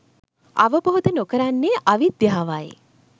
අවබෝධ නොකරන්නේ අවිද්‍යාවයි.